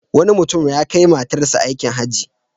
Wani mutum ya kai matarsa aikin Hajji.